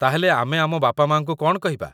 ତା'ହେଲେ ଆମେ ଆମ ବାପାମାଆଙ୍କୁ କ'ଣ କହିବା?